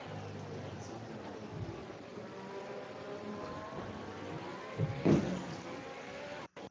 Turner syndrome ko kewelutetab chromosome neimirmire rutunetab tie.